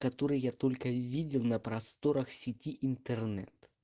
который я только видел на просторах сети интернет